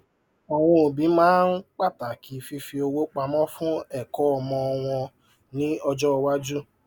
àwọn òbí máa ń pàtàkì fífi owó pamọ fún ẹkọ ọmọ wọn ní ọjọ iwájú